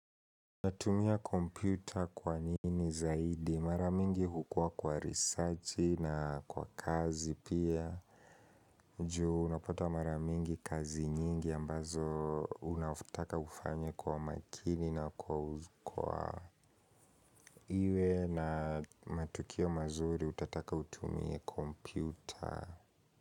Natumia kompyuta kwa nini zaidi? Mara mingi hukua kwa risachi na kwa kazi pia. Juu, unapata mara mingi kazi nyingi ambazo unataka ufanye kwa makini na iwe na matokeo mazuri utataka utumiye kompyuta.